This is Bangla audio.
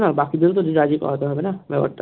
না বাকিদের ও তো রাজি করাতে হবে না ব্যাপারটা